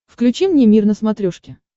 включи мне мир на смотрешке